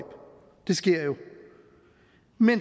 det sker jo